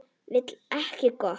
Vill ekkert gott.